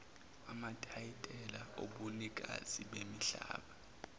amatayitela obunikazi bemihlaba